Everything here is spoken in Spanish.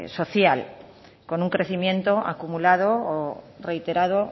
social con un crecimiento acumulado o reiterado